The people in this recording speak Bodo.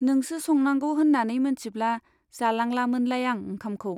नोंसो संनांगौ होन्नानै मोनथिब्ला जालांलामोनलाय आं ओंखामखौ ,